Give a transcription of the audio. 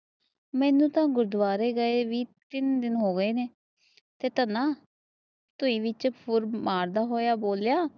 ਮਾਈ ਵੀ ਗੁਰੂਦਾਵੇਰੇ ਗਾਏ ਵੀ ਤੇਹ ਤੰਨਾ ਟੂਈ ਵਿੱਚ ਫੁਰ ਮਾਰਦਾ ਹੋਇਆ ਬੋਲਿਆ